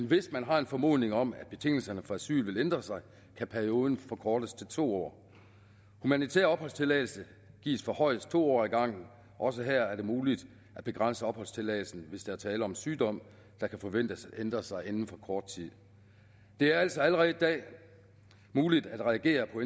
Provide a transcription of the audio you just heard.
hvis man har en formodning om at betingelserne for asyl vil ændre sig kan perioden forkortes til to år humanitær opholdstilladelse gives for højst to år ad gangen også her er det muligt at begrænse opholdstilladelsen hvis der er tale om sygdom der kan forventes at ændre sig inden for kort tid det er altså allerede i dag muligt at reagere på